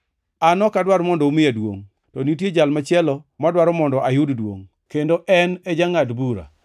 An ok adwar mondo umiya duongʼ, to nitie Jal machielo madwaro mondo ayud duongʼ, kendo en e jangʼad bura.